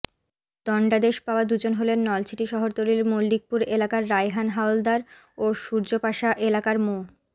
দণ্ডাদেশ পাওয়া দুজন হলেন নলছিটি শহরতলির মল্লিকপুর এলাকার রায়হান হাওলাদার ও সূর্য্যপাশা এলাকার মো